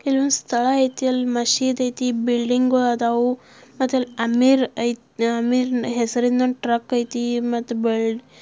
ಇಲ್ ಒಂದ್ ಸ್ಥಳ ಐತೆ ಮಸ್ಜಿದ್ ಐತೆ ಬಿಲ್ಡಿಂಗ್ ಗು ಅದಾವ್ವ್ ಐತೆ ಮತ್ತೆ ಅಮೀರ ಹೆಸರಿನ ಟ್ರಕ್ ಐತೆ ಮತ್ತೆ ಬಿಲ್ --